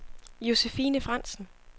Josephine Frandsen